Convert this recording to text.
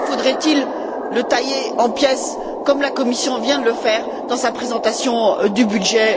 Pourquoi faudrait il le tailler en pièces, comme la Commission vient de le faire dans sa présentation du budget